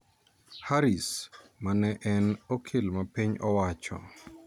Harris, ma ne en okil mar piny owacho